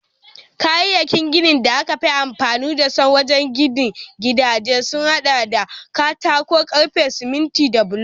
Kayayyakin ginin da aka fi amfani da su wajen ginin gidaje sun hada da katako, karfe, siminti da bulo